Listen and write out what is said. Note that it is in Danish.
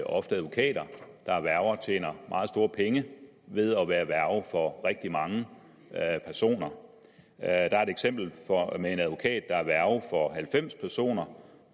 ofte advokater der er værger tjener meget store penge ved at være værge for rigtig mange personer der er et eksempel med en advokat der er værge for halvfems personer